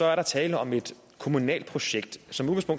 er der tale om et kommunalt projekt